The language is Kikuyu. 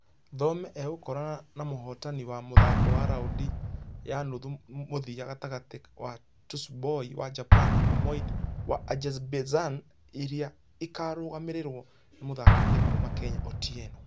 Thome agũkorqnq na mũhotani wa mũthako wa raundi ya nuthu mũthia gatagatĩ wa tsuboi wa japan na umoid wa azerbaijan ĩrĩa ĩkarũgamĩrĩrwo nĩ mũthakithia kuuma kenya otieno.